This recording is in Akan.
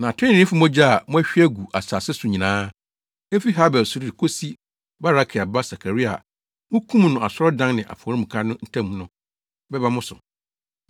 Na atreneefo mogya a moahwie agu asase so nyinaa, efi Habel so de kosi Barakia ba Sakaria a mukum no asɔredan ne afɔremuka ntam no, bɛba mo so.